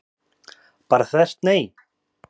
Bara þvert nei?